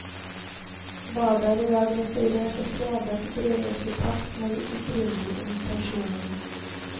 Badet er i dag restaurert og fredet, og drives i pakt med de opprinnelige intensjonene.